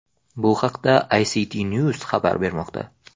Bu haqda ICTnews xabar bermoqda.